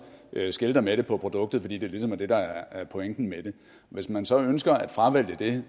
skilter med det på produktet fordi det ligesom er det der er pointen med det hvis man så ønsker at fravælge det